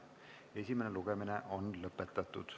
Esimene lugemine on lõpetatud.